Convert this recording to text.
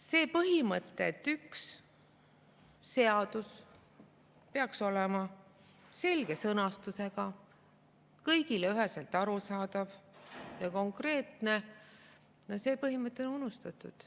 See põhimõte, et seadus peaks olema selge sõnastusega, kõigile üheselt arusaadav ja konkreetne, on unustatud.